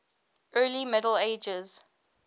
early middle ages